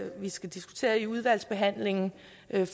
vi skal diskutere i udvalgsbehandlingen